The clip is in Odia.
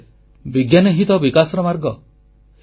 ଯେତେହେଲେ ବିଜ୍ଞାନ ହିଁ ତ ବିକାଶର ମାର୍ଗ